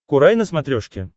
курай на смотрешке